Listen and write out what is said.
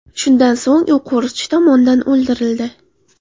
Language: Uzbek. Shundan so‘ng u qo‘riqchi tomonidan otib o‘ldirildi.